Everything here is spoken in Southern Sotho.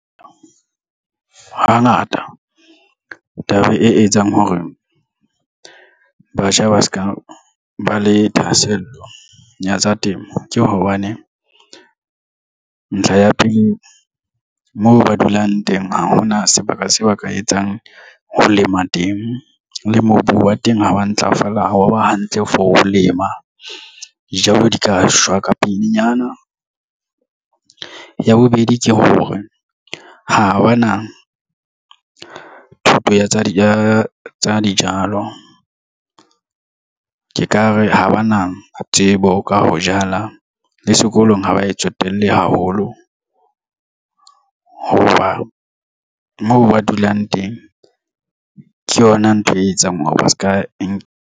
Hangata taba e etsang hore batjha ba se ka ba le thahasello ya tsa temo ke hobane ntlha ya pele moo ba dulang teng ha hona sebaka seo a ka etsang ho lema teng le mobu wa teng ha ba ntlafala, wa ba hantle for ho lema dijalo di ka shwa ka pelenyana. Ya bobedi ke hore ha ba na thuto ya tsa dijalo. Ke ka re ha ba na tsebo ka ho jala le sekolong ha ba etsotelle haholo, hoba moo ba dulang teng ke yona ntho e etsang hore ba se ka enka.